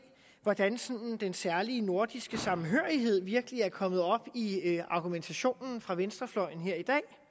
hvordan sådan den særlige nordiske samhørighed virkelig er kommet op i argumentationen fra venstrefløjen her i